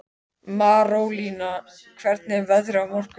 Marólína, hvernig er veðrið á morgun?